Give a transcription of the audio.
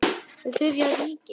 Fyrir Þriðja ríkið.